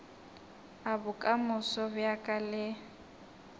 a bokamoso bja ka le